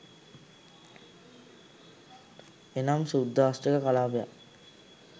එනම් ශුද්ධාෂ්ටක කලාපයක්